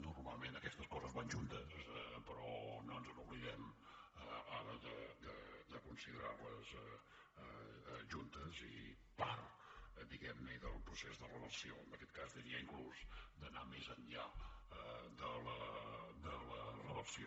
normalment aquestes coses van juntes però no ens oblidem ara de considerar les juntes i part diguem ne del procés de reversió en aquest cas diria inclús d’anar més enllà de la reversió